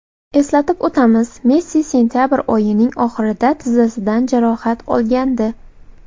Eslatib o‘tamiz, Messi sentabr oyining oxirida tizzasidan jarohat olgandi .